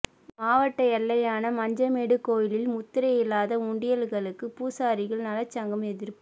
மாவட்ட எல்லையான மஞ்சமேடு கோயிலில் முத்திரையில்லாத உண்டியல்களுக்கு பூசாரிகள் நலச்சங்கம் எதிர்ப்பு